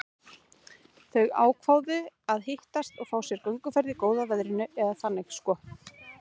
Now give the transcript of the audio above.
Þau ákváðu að hittast og fá sér gönguferð í góða veðrinu, eða þannig sko.